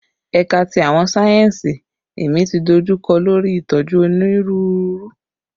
Ẹka ti Awọn sáyẹnsì Ẹmi ti dojukọ lori itoju Oniruuru